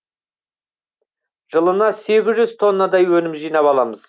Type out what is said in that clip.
жылына сегіз жүз тоннадай өнім жинап аламыз